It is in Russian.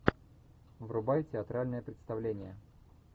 врубай театральное представление